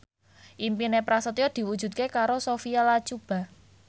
impine Prasetyo diwujudke karo Sophia Latjuba